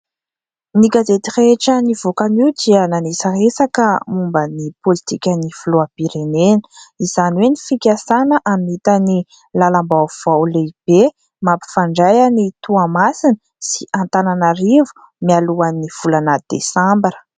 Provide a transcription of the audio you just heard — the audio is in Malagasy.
Ny gazety rehetra nivoaka anio dia miresadresaka momba ny pôlitika ny filoham-pirenena izany hoe ny fikasana hamita ny lalam-baovao lehibe mampifandray an'i Toamasina sy Antananarivo mialohan'ny volana desambara.